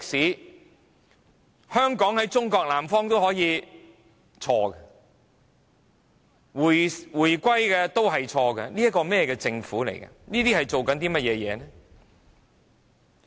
說香港在中國南方都可以是錯的，說"回歸"也是錯的，這是甚麼樣的政府？